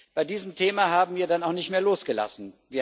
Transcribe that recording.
Bei diesem Thema haben wir dann auch nicht mehr losgelassen.